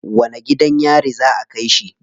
Wani gidan yari za a kai shi?